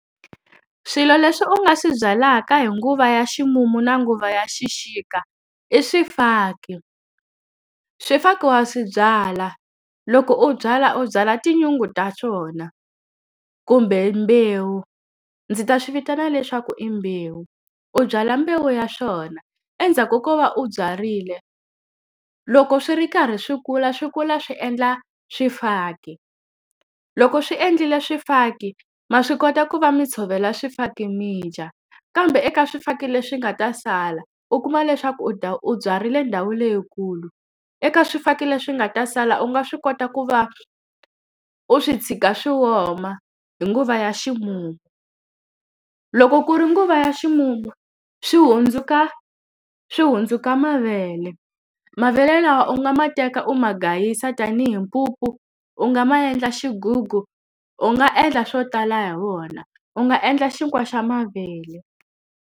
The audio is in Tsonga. Swilo leswi u nga swi byalaka hi nguva ya ximumu na nguva ya xixika, i swifaki. Swifaki wa swi byala, loko u byala u byala tinyungu ta swona kumbe mbewu. Ndzi ta swi vitana leswaku i mbewu. U byala mbewu ya swona, endzhaku ko va u byarile loko swi ri karhi swi kula swi kula swi endla swifaki. Loko swi endlile swifaki, ma swi kota ku va mi tshovela swifaki mi dya. Kambe eka swifaki leswi nga ta sala u kuma leswaku u u byarile ndhawu leyikulu, eka swifaki leswi nga ta sala u nga swi kota ku va u swi tshika swi oma hi nguva ya ximumu. Loko ku ri nguva ya ximumu swi hundzuka swi hundzuka mavele. Mavele lawa u nga ma teka u ma gayisa tanihi mpupu, u nga ma endla xigugu, u nga endla swo tala hi wona. U nga endla xinkwa xa mavele.